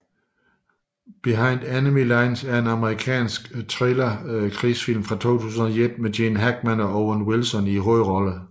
Behind Enemy Lines er en amerikansk thriller krigsfilm fra 2001 med Gene Hackman og Owen Wilson i hovedrollerne